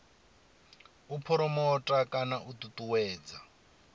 u phuromotha kana u ṱuṱuwedza